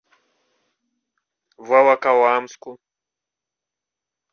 волоколамску